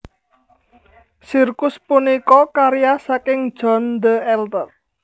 Sirkus punika karya saking John the Elder